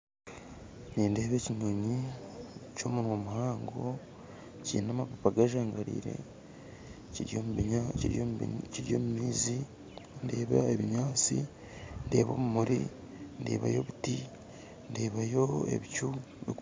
Nindeeba ekinyonyi ky'omunwa muhango kiine amapapa gajangarire, kiri kiri omu maizi, ndeeba ebinyantsi ndebayo obumuri ndebayo obuti, ndeebayo ebicu